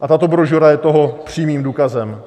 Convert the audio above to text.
A tato brožura je toho přímým důkazem.